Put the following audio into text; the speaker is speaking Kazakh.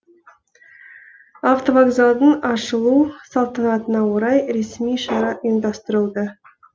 автовокзалдың ашылу салтанатына орай ресми шара ұйымдастырылды